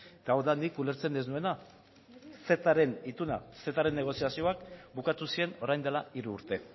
eta hau da nik ulertzen ez nuena cetaren ituna cetaren negoziazioak bukatu ziren orain dela hiru urte